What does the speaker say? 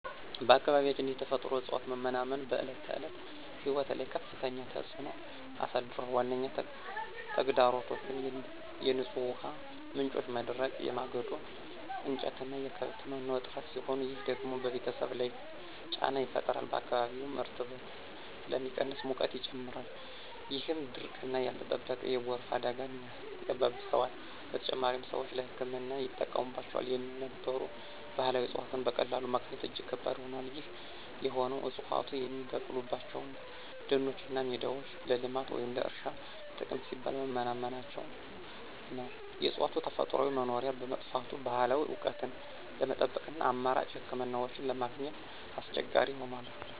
በአካባቢያችን የተፈጥሮ እፅዋት መመናመን በዕለት ተዕለት ሕይወት ላይ ከፍተኛ ተጽዕኖ አሳድሯል። ዋነኛ ተግዳሮቶቹ የንጹህ ውሃ ምንጮች መድረቅ፣ የማገዶ እንጨትና የከብት መኖ እጥረት ሲሆኑ፣ ይህ ደግሞ በቤተሰብ ላይ ጫና ይፈጥራል። በአካባቢውም እርጥበት ስለሚቀንስ ሙቀት ይጨምራል፣ ይህም ድርቅና ያልተጠበቀ የጎርፍ አደጋን ያባብሰዋል። በተጨማሪም፣ ሰዎች ለሕክምና ይጠቀሙባቸው የነበሩ ባህላዊ እፅዋትን በቀላሉ ማግኘት እጅግ ከባድ ሆኗል። ይህ የሆነው ዕፅዋቱ የሚበቅሉባቸው ደኖችና ሜዳዎች ለልማት ወይም ለእርሻ ጥቅም ሲባል በመመናመናቸው ነው። የእፅዋቱ ተፈጥሯዊ መኖሪያ በመጥፋቱ፣ ባህላዊ እውቀትን ለመጠበቅና አማራጭ ሕክምናዎችን ለማግኘት አስቸጋሪ ሆኗል።